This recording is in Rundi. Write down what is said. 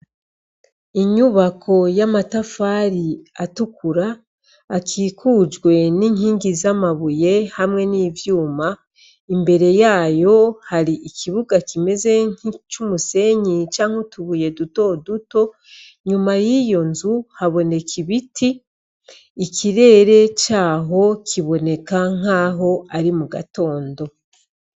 Inyubako y'amatafari atukura akikujwe n'inkingi z'amabuye hamwe n'ivyuma imbere yayo hari ikibuga kimeze kc'umusenyi canke utubuye duto duto nyuma y'iyo nzu haboneka ibiti ikirere ere caho kiboneka nk'aho ari mu gatondo.